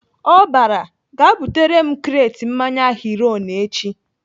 Ọ bara "Gaa butere m kret mmanya Heroin echi!"